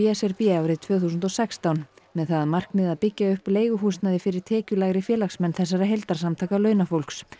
s r b árið tvö þúsund og sextán með það að markmiði að byggja upp leiguhúsnæði fyrir tekjulægri félagsmenn þessara heildarsamtaka launafólks